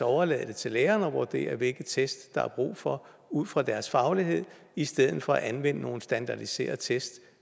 overlade det til læreren at vurdere hvilke test der er brug for ud fra deres faglighed i stedet for at anvende nogle standardiserede test